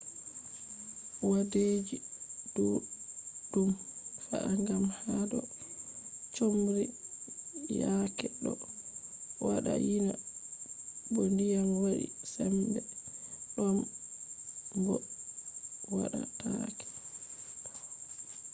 wadeji duddum fe’a gam hado chomri yaake do wada yina bo diyam wadi sembe dom bo wadatake